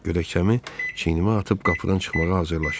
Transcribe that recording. Gödəkçəmi çiynimə atıb qapıdan çıxmağa hazırlaşırdım.